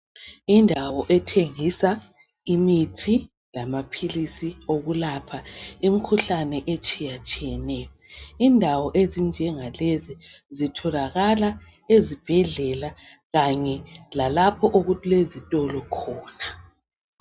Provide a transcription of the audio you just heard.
Indawo ethengisa imithi lamaphilisi okulapha imkhuhlane etshiyatshiyeneyo. Indawo ezinjengalezi zitholakala ezibhedlela kanye lalapho okulezitolo khona.